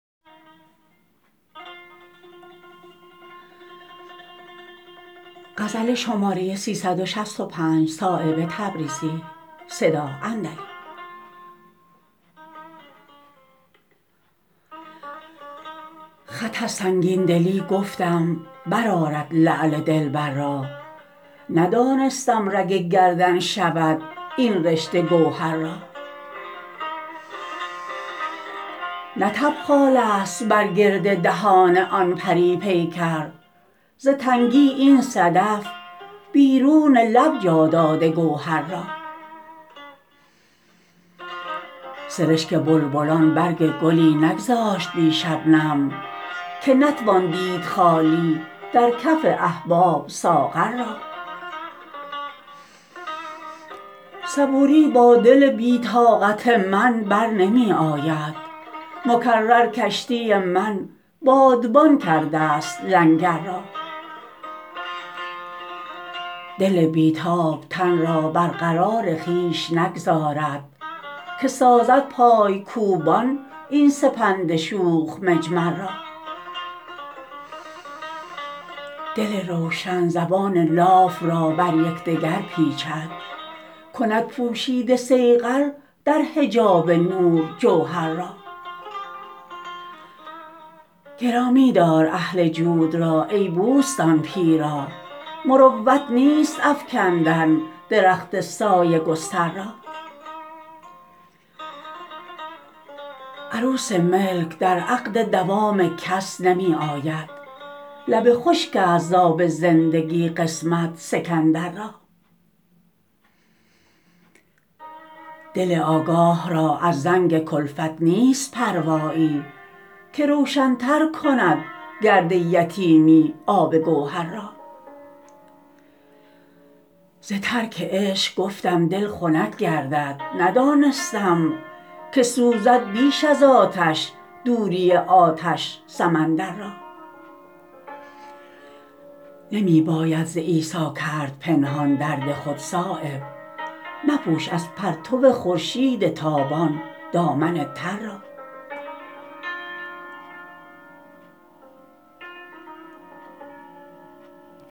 خط از سنگین دلی گفتم برآرد لعل دلبر را ندانستم رگ گردن شود این رشته گوهر را نه تبخاله است بر گرد دهان آن پری پیکر ز تنگی این صدف بیرون لب جا داده گوهر را سرشک بلبلان برگ گلی نگذاشت بی شبنم که نتوان دید خالی در کف احباب ساغر را صبوری با دل بی طاقت من برنمی آید مکرر کشتی من بادبان کرده است لنگر را دل بی تاب تن را بر قرار خویش نگذارد که سازد پایکوبان این سپند شوخ مجمر را دل روشن زبان لاف را بر یکدگر پیچد کند پوشیده صیقل در حجاب نور جوهر را گرامی دار اهل جود را ای بوستان پیرا مروت نیست افکندن درخت سایه گستر را عروس ملک در عقد دوام کس نمی آید لب خشک است از آب زندگی قسمت سکندر را دل آگاه را از زنگ کلفت نیست پروایی که روشن تر کند گرد یتیمی آب گوهر را ز ترک عشق گفتم دل خنک گردد ندانستم که سوزد بیش از آتش دوری آتش سمندر را نمی باید ز عیسی کرد پنهان درد خود صایب مپوش از پرتو خورشید تابان دامن تر را